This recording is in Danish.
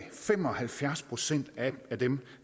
fem og halvfjerds procent af dem